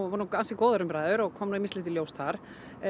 voru ansi góðar umræður og kom ýmislegt í ljós þar